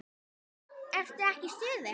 Ertu ekki í stuði?